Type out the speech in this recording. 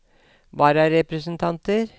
vararepresentanter